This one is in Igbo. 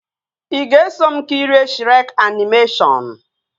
Ị ga-eso m kirie Shrek animeshọnu?